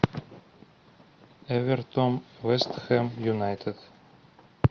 эвертон вест хэм юнайтед